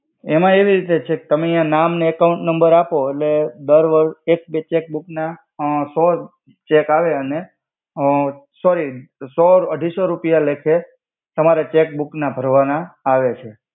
એમા એવી રિતે છે કે તમે યા નામ ને અકાઉંટ નમ્બર આપો એટ્લે દર વર્સ એક બે ચેક્બુક ના સો ચેક આવે અને અ સોરી સો અઢિસો રુપિયા લેખે તમારે ચેક્બુક ના ભર્વાના આવે.